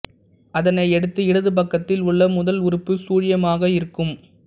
அதனையடுத்து இடது பக்கத்தில் உள்ள முதல் உறுப்பு சுழியமாக இருக்கும்